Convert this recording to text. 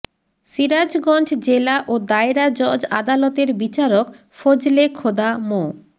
সিরাজগঞ্জ জেলা ও দায়রা জজ আদালতের বিচারক ফজলে খোদা মো